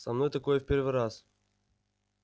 со мной такое в первый раз